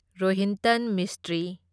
Rohinton ꯃꯤꯁꯇ꯭ꯔꯤ